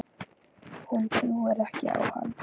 Hún trúir ekki á hann.